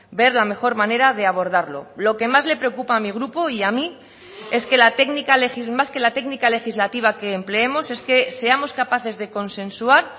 ver la mejor manera de abordarlo lo que más le preocupa a mi grupo y a mí es que la técnica más que la técnica legislativa que empleemos es que seamos capaces de consensuar